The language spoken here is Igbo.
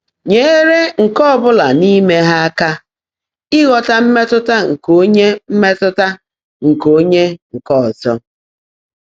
Nyèèré nkè ọ́ bụ́lá n’íimé há áká íghọ́tá mmétụ́tá nkè óńyé mmétụ́tá nkè óńyé nkè ọ́zọ́.